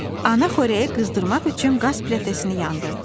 Ana xörəyi qızdırmaq üçün qaz plitəsini yandırdı.